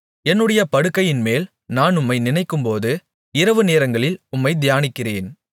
என்னுடைய படுக்கையின்மேல் நான் உம்மை நினைக்கும்போது இரவுநேரங்களில் உம்மைத் தியானிக்கிறேன்